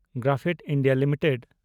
graphite India limited